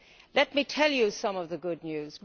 Let me tell you some of the good news.